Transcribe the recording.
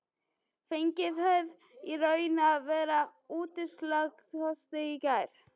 Fenguð þið í raun og veru úrslitakosti í gær?